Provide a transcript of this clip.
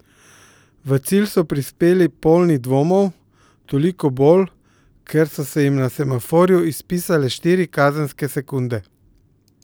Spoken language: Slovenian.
V cilj so prispeli polni dvomov, toliko bolj, ker so se jim na semaforju izpisale štiri kazenske sekunde.